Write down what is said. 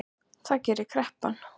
Það gerir kreppan